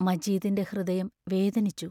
മജീദിന്റെ ഹൃദയം വേദനിച്ചു.